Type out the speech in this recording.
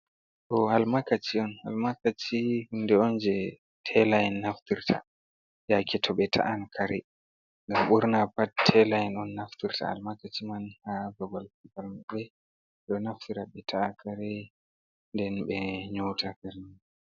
Ɗo almakachi on almakachi hunde on je taila en naftirta yake to ɓe ta'an karai ngam ɓurna pat taila ɗon naftira almakaci man ha babal balmbe do naftira be ta'a karei den be nyota kare.